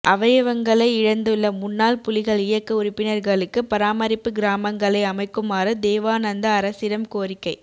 அவயவங்களை இழந்துள்ள முன்னாள் புலிகள் இயக்க உறுப்பினர்களுக்கு பராமரிப்பு கிராமங்களை அமைக்குமாறு தேவானந்தா அரசிடம் கோரிக்கை